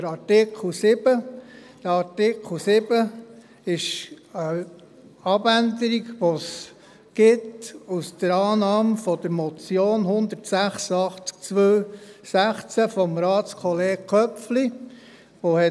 Dieser erfährt eine Abänderung, die sich aus der Annahme der Motion 186-2016 von Ratskollegen Köpfli ergibt.